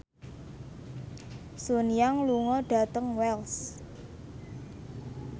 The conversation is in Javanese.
Sun Yang lunga dhateng Wells